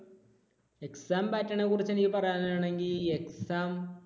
exam pattern നെക്കുറിച്ച് എനിക്ക് പറയാനാണെങ്കിൽ exam